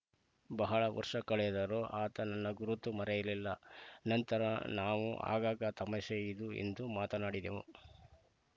ಬಹಳ ವರ್ಷ ಕಳೆದರೂ ಆತ ನನ್ನ ಗುರುತು ಮರೆಯಲಿಲ್ಲ ನಂತರ ನಾವು ಆಗಾಗ ತಮಾಷೆ ಇದು ಎಂದು ಮಾತನಾಡಿದೆವು